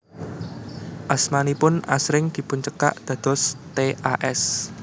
Asmanipun asring dipuncekak dados T A S